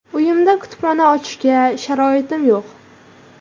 Uyimda kutubxona ochishga sharoitim yo‘q.